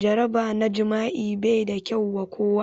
Jaraba na jima'i bai da kyau wa kowa.